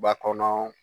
Ba kɔnɔ